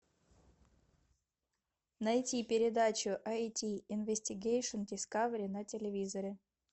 найти передачу айди инвестигейшн дискавери на телевизоре